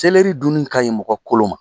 Selɛri dunni ka ɲi mɔgɔ kolo ma.